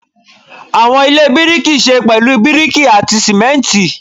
Awọn ile biriki ṣe pẹlu biriki ati simenti